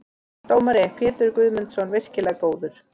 Dómari: Pétur Guðmundsson- virkilega góður.